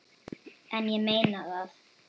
En ég meina það.